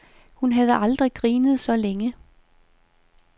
Hun havde aldrig grinet så længe.